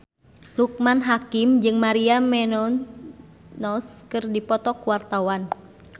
Loekman Hakim jeung Maria Menounos keur dipoto ku wartawan